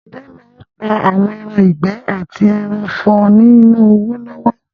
Àwọn ọdẹ máa n pa àwọn ẹran ìgbẹ́ àti ẹranko for ní ní owó lọ́wọ́